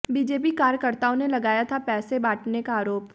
BJP कार्यकर्ताओं ने लगाया था पैसे बांटने का आरोप